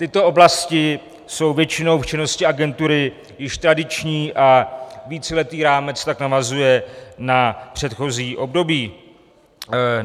Tyto oblasti jsou většinou v činnosti agentury již tradiční a víceletý rámec tak navazuje na předchozí období.